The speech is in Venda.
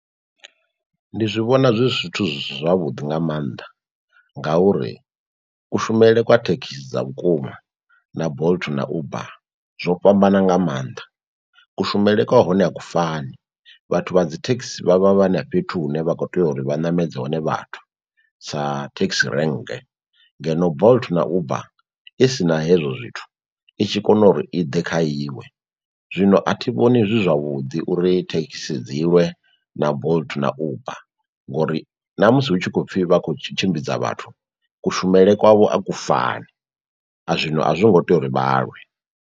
Ndi zwi vhona zwi zwithu zwi si zwavhuḓi nga mannḓa ngauri kushumele kwa thekhisi dza vhukuma na Bolt na Uber zwo fhambana nga mannḓa, kushumele kwa hone a ku fani. Vhathu vha dzi thekhisi vha vha vha na fhethu hune vha kho tea uri vha ṋamedze hone vhathu sa taxi rank ngeno Bolt na Uber isina hezwo zwithu i tshi kona uri i ḓe kha iwe, zwino a thi vhoni zwi zwavhuḓi uri thekhisi dzilwe na Bolt na Uber ngori na musi hu tshi kho pfi vha khou tshimbidza vhathu kushumele kwavho a ku fani zwino a zwi ngo tea uri vhalwe.